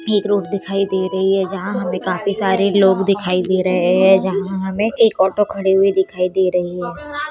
एक रोड दिखाई दे रही है जहाँ हमे काफी सारे लोग दिखाई दे रहे है जहाँ हमे एक ऑटो खड़ी हुई दिखाई दे रही है।